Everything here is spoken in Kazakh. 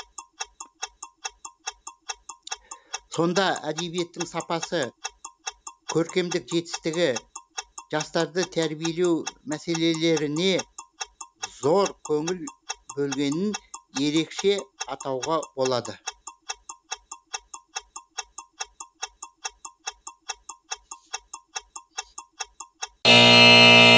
сонда әдебиеттің сапасы көркемдік жетістігі жастарды тәрбиелеу мәселелеріне зор көңіл бөлгенін ерекше атауға болады